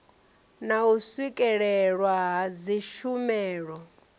na u swikelelwa ha dzitshumelo